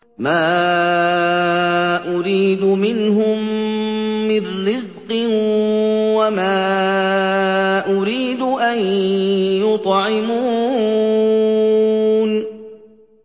مَا أُرِيدُ مِنْهُم مِّن رِّزْقٍ وَمَا أُرِيدُ أَن يُطْعِمُونِ